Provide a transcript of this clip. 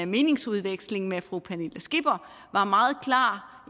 meningsudveksling med fru pernille skipper var meget klar